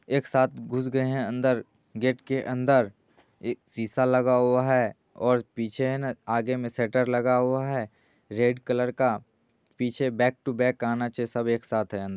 एक साथ घुस गए है अंदर गेट के अंदर एक शीशा लगा हुआ है और पीछे है ना आगे मे शटर लगा है रेड कलर का पीछे बैक टू बैक आना चाहिए सब एक साथ हैं।